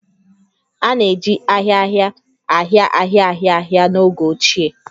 A na-eji ahia ahia ahia ahia ahia ahia n'oge ochie